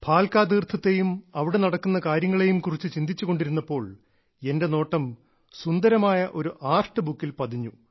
ഭാൽകാ തീർത്ഥത്തെയും അവിടെ നടക്കുന്ന കാര്യങ്ങളെ കുറിച്ചും ചിന്തിച്ചു കൊണ്ടിരുന്നപ്പോൾ എന്റെ നോട്ടം സുന്ദരമായ ഒരു ആർട്ട് ബുക്കിൽ പതിഞ്ഞു